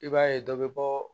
I b'a ye dɔ bɛ bɔ